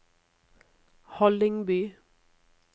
Hallingby